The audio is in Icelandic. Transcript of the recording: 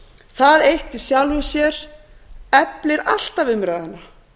það eitt í sjálfu sér eflir alltaf umræðuna